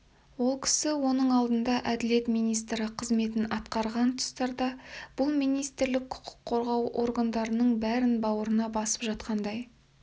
ол кісі оның алдында әділет министрі қызметін атқарған тұстарда бұл министрлік құқық қорғау органдарының бәрін бауырына басып жатқандай